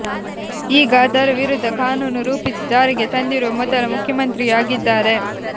ಈಗ ಅದರ ವಿರುದ್ಧ ಕಾನೂನು ರೂಪಿಸಿ ಜಾರಿಗೆ ತಂದಿರುವ ಮೊದಲ ಮುಖ್ಯಮಂತ್ರಿಯೂ ಆಗಿದ್ದಾರೆ